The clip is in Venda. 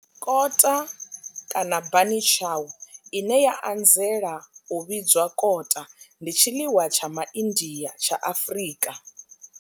Kota bunny chow, ine ya anzela u vhidzwa kota, ndi tshiḽiwa tsha Ma India tsha Afrika.